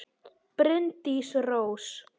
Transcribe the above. Bryndís Rós.